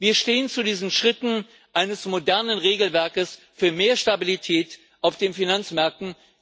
Wir stehen zu diesen Schritten eines modernen Regelwerkes für mehr Stabilität auf den Finanzmärkten.